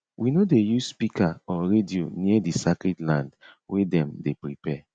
we no dey use speaker or radio near di sacred land wey dem dey prepare